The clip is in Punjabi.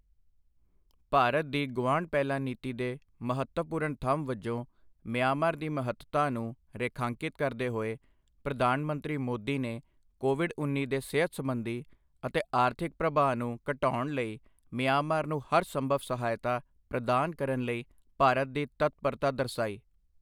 ਭਾਰਤ ਦੀ ਗੁਆਂਢ ਪਹਿਲਾਂ ਨੀਤੀ ਦੇ ਮਹੱਤਵਪੂਰਨ ਥੰਮ੍ਹ ਵਜੋਂ ਮਿਆਂਮਾਰ ਦੀ ਮਹੱਤਤਾ ਨੂੰ ਰੇਖਾਂਕਿਤ ਕਰਦੇ ਹੋਏ, ਪ੍ਰਧਾਨ ਮੰਤਰੀ ਮੋਦੀ ਨੇ ਕੋਵਿਡ ਉੱਨੀ ਦੇ ਸਿਹਤ ਸਬੰਧੀ ਅਤੇ ਆਰਥਿਕ ਪ੍ਰਭਾਵ ਨੂੰ ਘਟਾਉਣ ਲਈ ਮਿਆਂਮਾਰ ਨੂੰ ਹਰ ਸੰਭਵ ਸਹਾਇਤਾ ਪ੍ਰਦਾਨ ਕਰਨ ਲਈ ਭਾਰਤ ਦੀ ਤਤਪਰਤਾ ਦਰਸਾਈ।